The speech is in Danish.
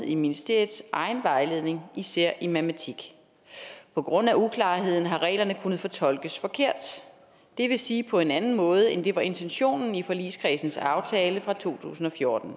i ministeriets egen vejledning især i matematik på grund af uklarheden har reglerne kunnet fortolkes forkert det vil sige på en anden måde end det var intentionen i forligskredsens aftale fra to tusind og fjorten